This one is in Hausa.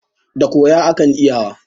Da koya akan iyawa.